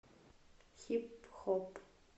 хип хоп